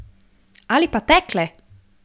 Ali pa tekle!